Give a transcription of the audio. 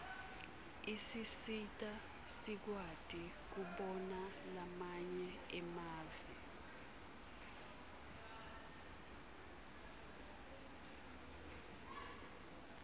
isisita sikwati kubona lamanye mave